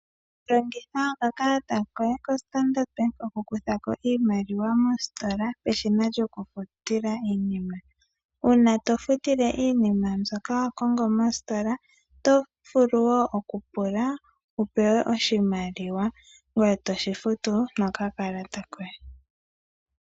Longitha oka kalata koye ko Standard Bank oku kutha ko iimaliwa moositola peshina lyokufutila iinima. Uuna tofutile iinima mbyoka wa kongo mosikola otovulu wo okupula wu pewe oshimaliwa ngoye toshi futu nokakalata koye.